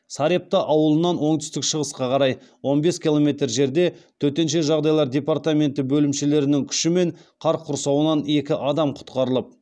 сарепта ауылынан оңтүстік шығысқа қарай он бес километр жерде төтенше жағдайлар департаменті бөлімшелерінің күшімен қар құрсауынан екі адам құтқарылып